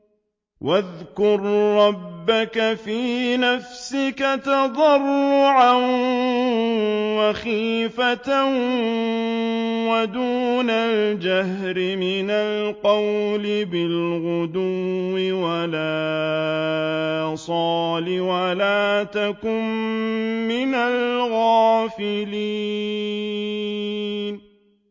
وَاذْكُر رَّبَّكَ فِي نَفْسِكَ تَضَرُّعًا وَخِيفَةً وَدُونَ الْجَهْرِ مِنَ الْقَوْلِ بِالْغُدُوِّ وَالْآصَالِ وَلَا تَكُن مِّنَ الْغَافِلِينَ